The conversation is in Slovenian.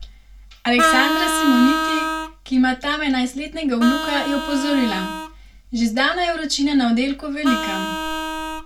Aleksandra Simoniti, ki ima tam enajstletnega vnuka, je opozorila: "Že zdaj je vročina na oddelku velika.